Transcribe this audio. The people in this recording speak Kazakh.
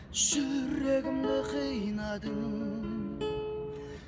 жүрегімді қинадың